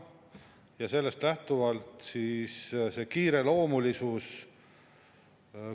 Ja sellest lähtuvalt see kiireloomulisus …